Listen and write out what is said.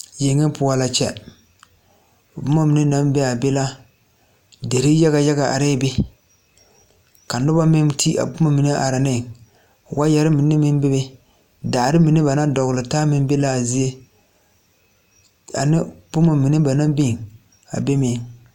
Yeŋe poɔ la kyɛ, boma mine naŋ be a la, boma yaga yaga biŋee a be ka noba meŋ ti a boma mine are ne, waayɛre mine meŋ bebe, daare mine ba naŋ dɔgela taa meŋ bebe. Ane boma mine ba naŋ biŋ a be meŋ.